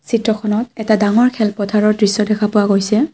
চিত্ৰখনত এটা ডাঙৰ খেল পথাৰৰ দৃশ্য দেখা পোৱা গৈছে।